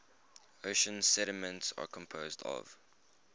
ocean sediments are composed of